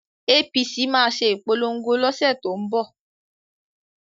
APC máa ṣe ìpolongo lọ́sẹ̀ tó ń bọ̀